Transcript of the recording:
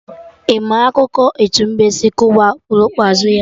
Ị ma akụkọ etu mbe si kụwa okpurukpu azụ ya?